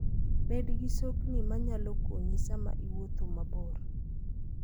Bed gi sokni ma nyalo konyi sama iwuotho mabor.